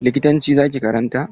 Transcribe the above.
Likitanci za ki karanta?